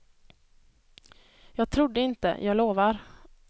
Jag trodde inte, jag lovar.